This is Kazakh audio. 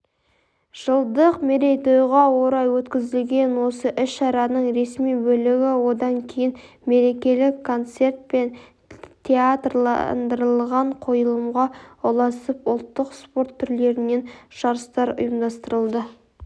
жылдық мерейтойға орай өткізілген осы іс-шараның ресми бөлігі одан кейін мерекелік концерт пен театрландырылған қойылымға ұласып ұлттық спорт түрлерінен жарыстар ұйымдастырылды